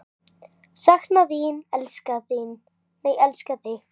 Sakna þín og elska þig.